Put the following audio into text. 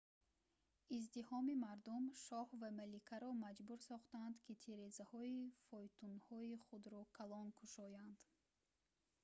издиҳоми мардум шоҳ ва маликаро маҷбур сохтанд ки тирезаҳои фойтунҳои худро калон кушоянд